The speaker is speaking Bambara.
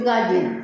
Ka jeni